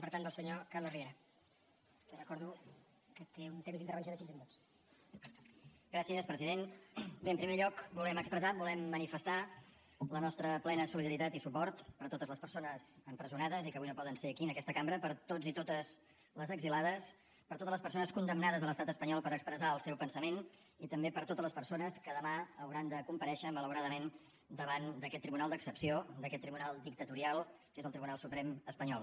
bé en primer lloc volem expressar volem manifestar la nostra plena solidaritat i suport per totes les persones empresonades i que avui no poden ser aquí en aquesta cambra per tots i totes les exiliades per totes les persones condemnades a l’estat espanyol per expressar el seu pensament i també per totes les persones que demà hauran de comparèixer malauradament davant d’aquest tribunal d’excepció d’aquest tribunal dictatorial que és el tribunal suprem espanyol